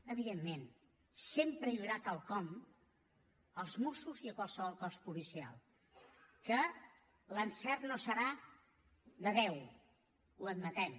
evidentment sempre hi haurà quelcom als mossos i a qualsevol cos policial que l’encert no serà de deu ho admetem